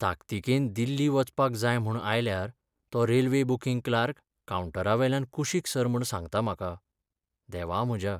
ताकतिकेन दिल्ली वचपाक जाय म्हूण आयल्यार तो रेल्वे बुकिंग क्लार्क कावंटरावेल्यान कुशीक सर म्हूण सांगता म्हाका. देवा म्हज्या!